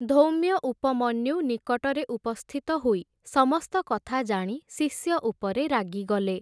ଧୌମ୍ୟ ଉପମନ୍ୟୁ ନିକଟରେ ଉପସ୍ଥିତ ହୋଇ ସମସ୍ତ କଥା ଜାଣି ଶିଷ୍ୟ ଉପରେ ରାଗିଗଲେ ।